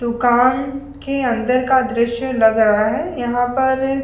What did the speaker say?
के अंदर का दृश्य लग रहा है यहां पर --